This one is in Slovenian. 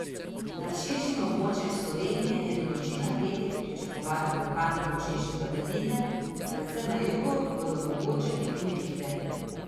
Nad širšim območjem Slovenije je do noči na petek pričakovati lokalno močnejše padavine, predvsem na jugu bodo mogoče tudi nevihte.